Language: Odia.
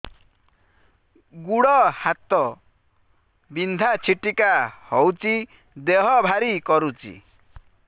ଗୁଡ଼ ହାତ ବିନ୍ଧା ଛିଟିକା ହଉଚି ଦେହ ଭାରି କରୁଚି